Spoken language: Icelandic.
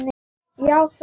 Já, sagði Finnur.